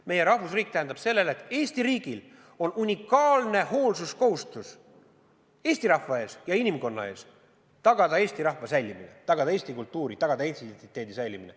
Meie rahvusriik tähendab seda, et Eesti riigil on unikaalne hoolsuskohustus eesti rahva ees ja inimkonna ees tagada eesti rahva säilimine, tagada eesti kultuuri, tagada eesti identiteedi säilimine.